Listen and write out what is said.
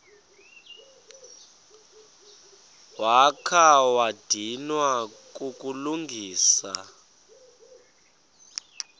wakha wadinwa kukulungisa